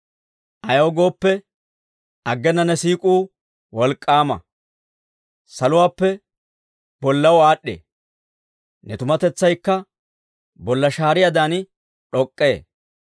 Ayaw gooppe, aggena ne siik'uu wolk'k'aama; saluwaappe bollaw aad'd'ee. Ne tumatetsaykka bolla shaariyaadan d'ok'k'ee.